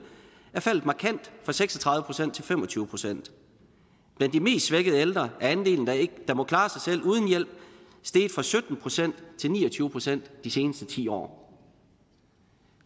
er seks og tredive procent til fem og tyve procent blandt de mest svækkede ældre er andelen der må klare sig selv uden hjælp steget fra sytten procent til ni og tyve procent de seneste ti år